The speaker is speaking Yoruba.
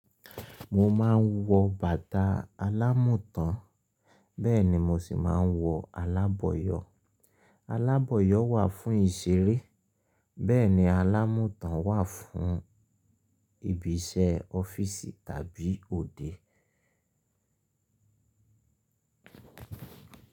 Mo máa ń wọ bàtà alámùtán bẹ́ẹ̀ ni mo sì máa ń wọ aláboyọ̀. Aláboyọ̀ wà fún ìṣeré, bẹ́ẹ̀ ni alámùtán wà fún ibi iṣẹ́ ọ́fíìsì tàbí òde.